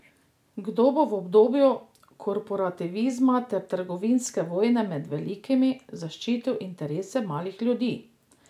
Kdo bo v obdobju korporativizma ter trgovinske vojne med velikimi, zaščitil interese malih ljudi?